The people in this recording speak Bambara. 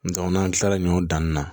n'an kilala ɲɔ danni na